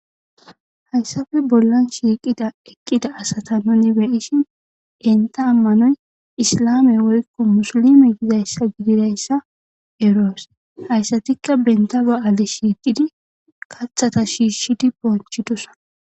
Hayisafe bollan shiiqida eqqida asata nuni beyishin enta ammanoy islame woykko musulime yizayssa gididayssa eroos hayssatikka benta ba'ale shiiqidi kathata shiishshidi bonchidosa